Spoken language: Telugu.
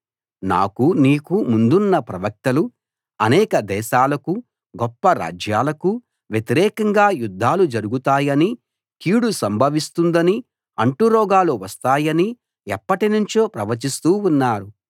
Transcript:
నాకూ నీకూ ముందున్న ప్రవక్తలు అనేక దేశాలకూ గొప్ప రాజ్యాలకూ వ్యతిరేకంగా యుద్ధాలు జరుగుతాయనీ కీడు సంభవిస్తుందనీ అంటురోగాలు వస్తాయనీ ఎప్పటినుంచో ప్రవచిస్తూ ఉన్నారు